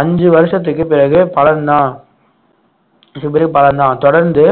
அஞ்சு வருஷத்துக்கு பிறகு பலன்தான் மிகப்பெரிய பலன்தான் தொடர்ந்து